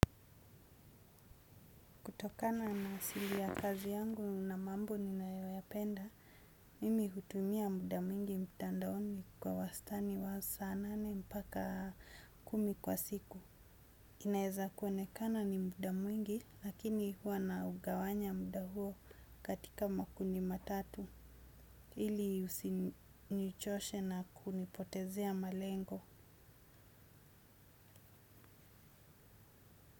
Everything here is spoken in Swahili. Kutokana na asili ya kazi yangu nina mambo ninayoyapenda mimi hutumia muda mwingi mtandaoni kwa wastani wa saa nane mpaka kumi kwa siku. Inaweza kuonekana ni muda mwingi, lakini huwa naugawanya muda huo katika makundi matatu. Ili usinichoshe na kunipotezea malengo.